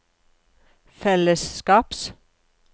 fellesskaps